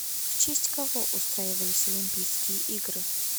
в честь кого устраивались олимпийские игры